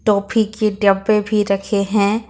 Toffee के डब्बे भी रखे हैं।